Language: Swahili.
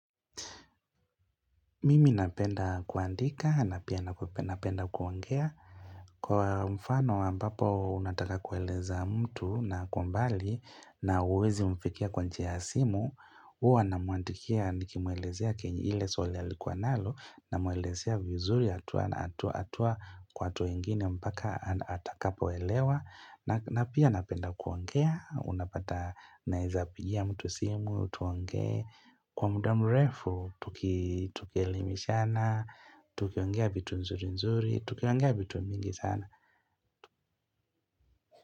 Mimi napenda kuandika, na pia napenda kuongea. Kwa mfano ambapo unataka kueleza mtu na ako mbali na huwezi mfikia kwa njia ya simu, huwa namwandikia nikimuelezea kenyei ile swali alikuwa nalo, namuelezea vizuri hatua kwa hatua ingine mpaka atakapo elewa. Napia napenda kuongea, unapata nawezapigia mtu simu, tuongee. Kwa muda murefu, tuki elimishana, tuki ongea vitu nzuri nzuri, tukiongea vitu mingi sana.